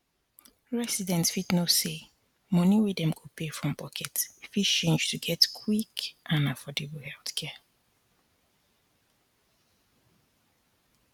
residents fit know say money wey dem go pay from pocket fit change to get quick and affordable healthcare